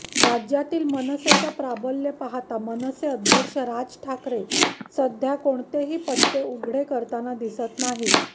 राज्यातील मनसेचं प्राबल्य पाहता मनसे अध्यक्ष राज ठाकरे सध्या कोणतेही पत्ते उघडे करताना दिसत नाहीत